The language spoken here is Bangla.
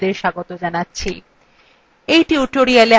in tutorialwe আমরা শিখব